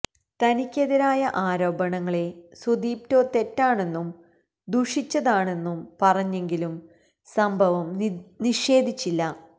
തനിക്കെതിരായ ആരോപണങ്ങളെ സുദിപ്റ്റോ തെറ്റാണെന്നും ദുഷിച്ചതാണെന്നും പറഞ്ഞെങ്കിലും സംഭവം നിഷേധിച്ചില്ല